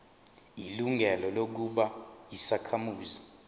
ilungelo lokuba yisakhamuzi